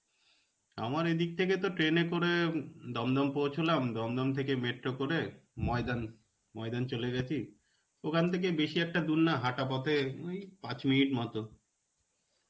আমার এদিক থেকে তো train এ করে দমদম পৌছুলাম. দমদম থেকে metro করে ময়দান, ময়দান চলে গেছি. ওখান থেকে বেশী একটা দূর নয় হাঁটা পথে ওই পাঁচ minute এর মতো